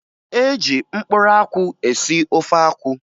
E ji mkpụrụ akwụ esi ofe akwụ